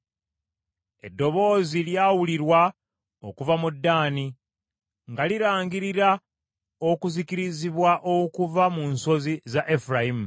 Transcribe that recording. Eddoboozi lyawulirwa okuva mu Ddaani, nga lirangirira okuzikirizibwa okuva mu nsozi za Efulayimu.